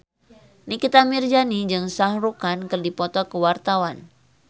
Nikita Mirzani jeung Shah Rukh Khan keur dipoto ku wartawan